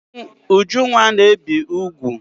Ujunwa na-ebi ụgụ.